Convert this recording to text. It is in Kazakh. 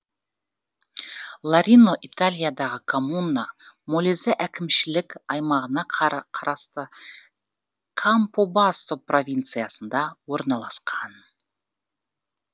ларино италиядағы коммуна молизе әкімшілік аймағына қарасты кампобассо провинциясында орналасқан